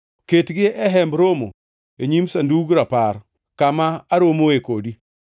Ketgi e Hemb Romo e nyim Sandug Rapar, kama aromoe kodi.